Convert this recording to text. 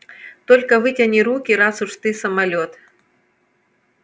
только вытяни руки раз уж ты самолёт